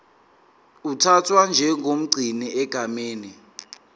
uthathwa njengomgcini egameni